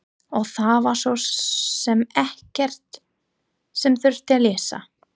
Og það var svo sem ekkert sem þurfti að leysa.